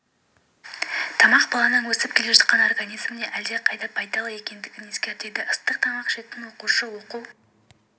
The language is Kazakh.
тамақ баланың өсіп келе жатқан организміне әлдеқайда пайдалы екендігін ескертеді ыстық тамақ ішетін оқушы оқу